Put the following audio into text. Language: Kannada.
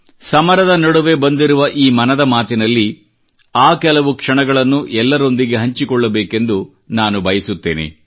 ಸಮರದ ನಡುವೆ ಬಂದಿರುವ ಈ ಮನದ ಮಾತಿನಲ್ಲಿ ಆ ಕೆಲವು ಕ್ಷಣಗಳನ್ನು ಎಲ್ಲರೊಂದಿಗೆ ಹಂಚಿಕೊಳ್ಳಬೇಕೆಂದು ನಾನು ಬಯಸುತ್ತೇನೆ